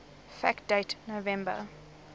fact date november